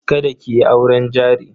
Kada ki yi auren jari.